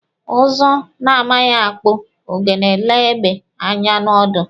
Ụzụ na-amaghị akpụ ogene lee egbe anya n'ọdụ.